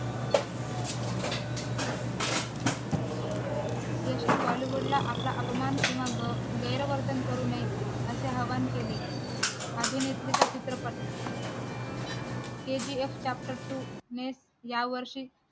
यशने bollywood ला आपला अपमान किंवा गैरवर्तन करू नये असे आव्हान केले अभिनेत्रीचा चित्रपट kgf chapter two नेच यावर्षी